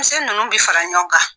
misɛn ninnu bɛ fara ɲɔgɔn kan.